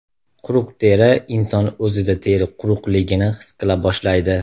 Quruq teri Inson o‘zida teri quruqligini his qila boshlaydi.